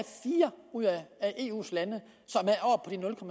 fire af eus lande